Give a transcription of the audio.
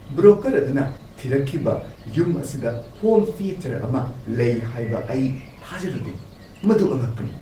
Broker ꯑꯗꯨꯅ ꯊꯤꯔꯛꯈꯤꯕ ꯌꯨꯝ ꯑꯁꯤꯗ ꯍꯣꯝ ꯊꯤꯌꯦꯇꯔ ꯑꯃ ꯂꯩ ꯍꯥꯏꯕ ꯑꯩ ꯊꯥꯖꯔꯨꯗꯦ ꯫ꯃꯗꯨ ꯑꯉꯛꯄꯅꯤ!